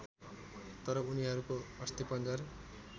तर उनीहरूको अस्थिपंजर